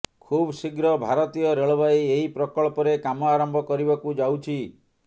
ଖୁବ୍ ଶୀଘ୍ର ଭାରତୀୟ ରେଳବାଇ ଏହି ପ୍ରକଳ୍ପରେ କାମ ଆରମ୍ଭ କରିବାକୁ ଯାଉଛି